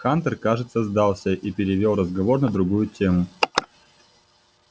хантер кажется сдался и перевёл разговор на другую тему